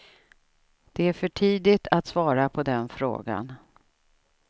Det är för tidigt att svara på den frågan.